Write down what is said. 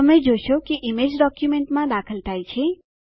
તમે જોશો કે ઈમેજ ડોક્યુંમેંટમાં દાખલ થાય છે